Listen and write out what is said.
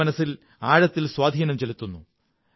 എന്റെ മനസ്സിൽ ആഴത്തിൽ സ്വാധീനം ചെലുത്തുന്നു